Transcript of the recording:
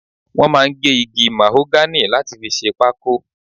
Wọ́n máa ń gé igi màhógánì láti fi ṣe pákó.